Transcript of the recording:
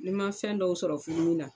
Ni n ma fɛn dɔw sɔrɔ furumi na